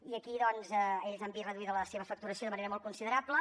i aquí doncs ells han vist reduïda la seva facturació de manera molt considerable